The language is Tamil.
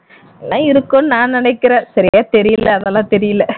இதெல்லாம் இருக்கும்னு நான் நினைக்கிறன் சரியா தெரியல அதெல்லாம் தெரியல